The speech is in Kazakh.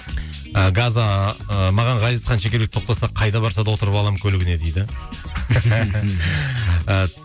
ы газа ыыы маған ғазизхан шекербеков тоқтаса қайда барса да отырып аламын көлігіне дейді